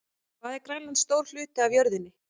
Hvað er Grænland stór hluti af jörðinni?